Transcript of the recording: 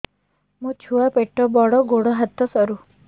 ମୋ ଛୁଆ ପେଟ ବଡ଼ ଗୋଡ଼ ହାତ ସରୁ